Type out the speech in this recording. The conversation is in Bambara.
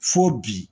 Fo bi